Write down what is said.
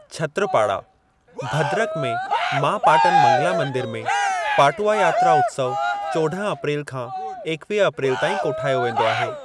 छत्रपाड़ा, भद्रक में मां पाटन मंगला मंदिर में, पाटुआ यात्रा उत्सउ चोड॒ह अप्रैल खां एकवीह अप्रैल ताईं कोठायो वेंदो आहे।